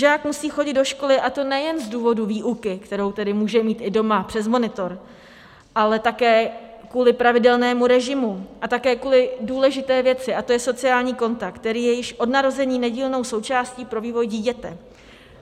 Žák musí chodit do školy, a to nejen z důvodu výuky, kterou tedy může mít i doma přes monitor, ale také kvůli pravidelnému režimu a také kvůli důležité věci, a to je sociální kontakt, který je již od narození nedílnou součástí pro vývoj dítěte.